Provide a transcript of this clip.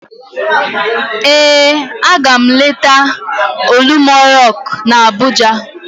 Ee, aga m eleta Olumọ rọk na Abụja